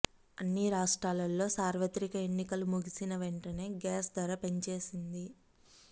అన్ని రాష్ట్రాల్లోని సార్వత్రిక ఎన్నికలు ముగిసిన వెంటనే గ్యాస్ ధర పెంచేసింది